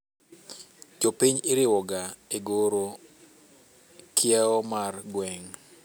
Jopiny iriwoga egoro kiewo mar gweng'